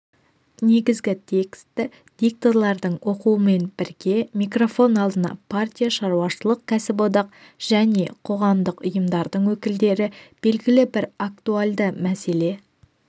негізгі тексті дикторлардың оқуымен бірге микрофон алдына партия шаруашылық кәсіподақ және қоғамдық ұйымдардың өкілдері белгілі бір актуальды мәселе